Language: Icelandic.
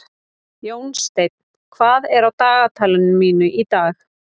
Jónsteinn, hvað er á dagatalinu mínu í dag?